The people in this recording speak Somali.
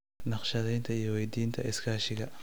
Naqshadeynta iyo 'weydiinta iskaashiga'